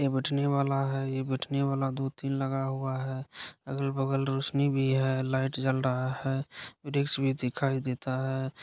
ये बैठने वाला है यह बैठने वाला दो तीन लगा हुआ है अगल बगल रोशनी भी है लाइट जल रहा है वृक्ष भी दिखाई देता है।